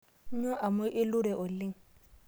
Nyuo amu ilure oleng'